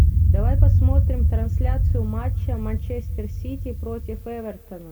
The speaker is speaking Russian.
давай посмотрим трансляцию матча манчестер сити против эвертона